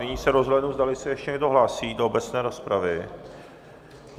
Nyní se rozhlédnu, zdali se ještě někdo hlásí do obecné rozpravy.